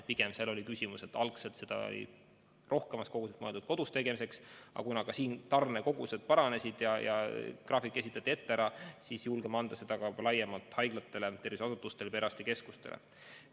Pigem on küsimus selles, et algselt seda oli rohkemas koguses mõeldud kodus süstimiseks, aga kuna ka need tarned paranesid ja graafik esitati ette ära, siis julgeme seda nüüd anda laiemalt haiglatele, perearstikeskustele ja muudele terviseasutustele.